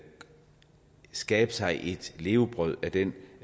skabe sig et levebrød af den